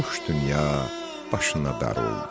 Boş dünya başına dar oldu.